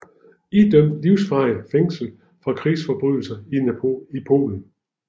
Idømt livsvarigt fængslet for krigsforbrydelser i Polen